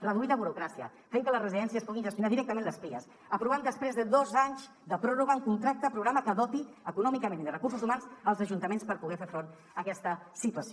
reduir la burocràcia fent que les residències puguin gestionar directament les pias aprovant després de dos anys de pròrroga un contracte programa que doti econòmicament i de recursos humans els ajuntaments per poder fer front a aquesta situació